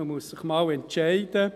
Man muss sich mal entscheiden.